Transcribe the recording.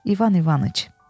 İvan İvanıç.